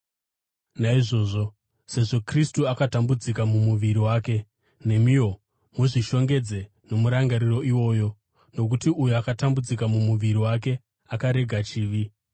Naizvozvo, sezvo Kristu akatambudzika mumuviri wake, nemiwo muzvishongedze nomurangariro iwoyo, nokuti uyo akatambudzika mumuviri wake akarega chivi.